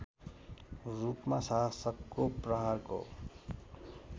रूपमा शासकको प्रहारको